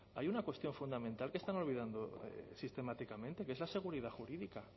hay una cuestión fundamental que están olvidando sistemáticamente que es la seguridad jurídica